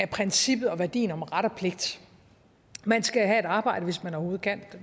princippet og værdien om ret og pligt man skal have et arbejde hvis man overhovedet kan